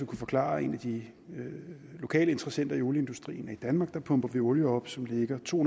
forklare en af de lokale interessenter i olieindustrien at i danmark pumper vi olie op som ligger to